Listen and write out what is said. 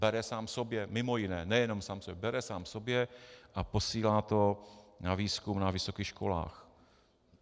Bere sám sobě mimo jiné, nejen sám sobě, bere sám sobě a posílá to na výzkum na vysokých školách.